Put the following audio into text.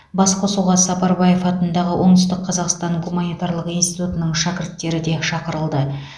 басқосуға сапарбаев атындағы оңтүстік қазақстан гуманитарлық институтының шәкірттері де шақырылды